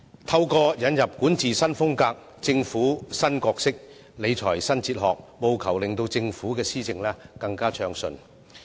透過管治新風格、政府新角色、理財新哲學，務求令政府的施政更暢順。